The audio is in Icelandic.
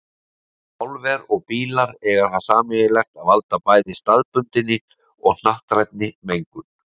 Álver og bílar eiga það sameiginlegt að valda bæði staðbundinni og hnattrænni mengun.